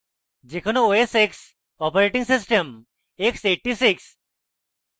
যে কোনো os x operating system x86